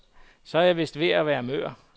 Så er jeg vist ved at være mør.